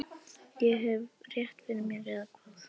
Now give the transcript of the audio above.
Hef ég rétt fyrir mér, eða hvað?